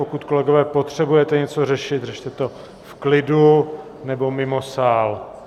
Pokud, kolegové, potřebujete něco řešit, řešte to v klidu nebo mimo sál.